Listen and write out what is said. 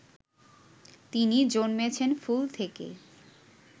তিনি জন্মেছেন ফুল থেকে